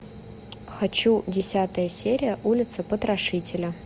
хочу десятая серия улица потрошителя